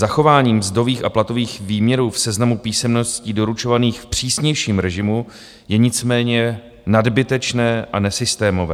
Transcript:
Zachování mzdových a platových výměrů v seznamu písemností doručovaných v přísnějším režimu je nicméně nadbytečné a nesystémové.